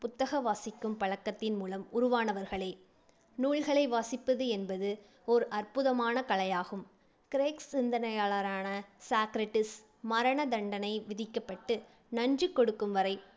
புத்தக வாசிக்கும் பழக்கத்தின் மூலம் உருவானவர்களே. நூல்களை வாசிப்பது என்பது ஓர் அற்புதமான கலையாகும். கிரேக் சிந்தனையாளரான சாக்ரடீஸ் மரண தண்டனை விதிக்கப்பட்டு நஞ்சு கொடுக்கும் வரை